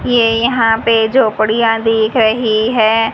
ये यहां पे झोपड़ियां दिख रही हैं।